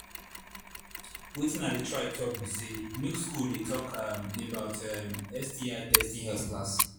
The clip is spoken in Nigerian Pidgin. watin i they try talk be say make school they talk um about um sti testing health class